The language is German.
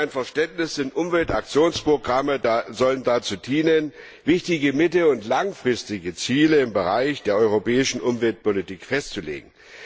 Im allgemeinen Verständnis sollen Umweltaktionsprogramme dazu dienen, wichtige mittel und langfristige Ziele im Bereich der europäischen Umweltpolitik festzulegen.